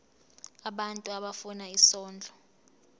abantu abafuna isondlo